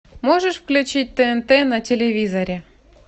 можешь включить тнт на телевизоре